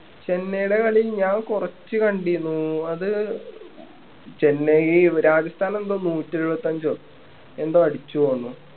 ചെന്നൈടെ കളി ഞാൻ കൊറച്ച് കണ്ടിരുന്നു അത് ചെന്നൈ രാജസ്ഥാൻ എന്തോ നൂറ്റെഴുപത്തഞ്ചോ എന്തോ അടിച്ചു തോന്നണു